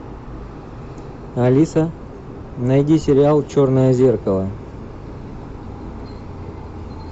алиса найди сериал черное зеркало